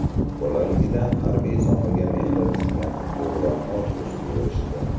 Bolaligidan harbiy sohaga mehri tushgan o‘g‘lon orzusiga erishdi.